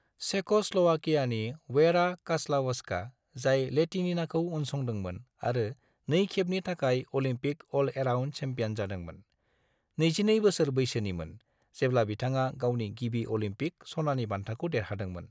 चेक'स्ल'वाकियानि Vera Caslavska, जाय लैटिनिनाखौ उनसंदोंमोन आरो नैखेबनि थाखाय अलिम्पिक अल-एराउन्ड चेम्पियन जादोंमोन, 22 बोसोर बैसोनिमोन, जेब्ला बिथाङा गावनि गिबि अलिम्पिक सनानि बान्थाखौ देरहादोंमोन।